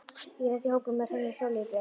Ég lenti í hópi með Hrönn og Sóleyju Björk.